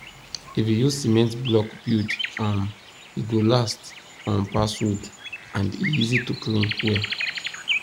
if you use cement block build um e go last um pass wood and e easy to clean well